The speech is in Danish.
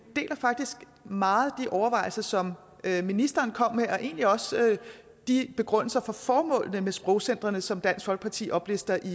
deler faktisk meget de overvejelser som ministeren kom med og egentlig også de begrundelser for formålene med sprogcentrene som dansk folkeparti oplister i